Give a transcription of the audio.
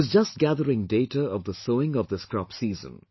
I was just gathering data of the sowing of this crop season